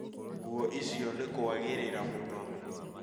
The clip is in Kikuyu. Nguo icio nĩ kũagĩrĩra mũno